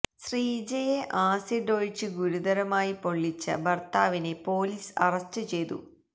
ശ്രീജയെ acid ഒഴിച്ച് ഗുരുതരമായി പൊള്ളിച്ച ഭർത്താവിനെ പൊലീസ്് അറസ്റ്റ് ചെയ്തു